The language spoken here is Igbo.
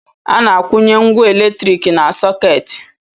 A na-akwụnye ngwá elektrik na sọkeeti.